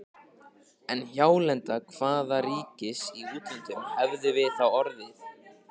En hjálenda hvaða ríkis í útlöndum hefðum við þá orðið?!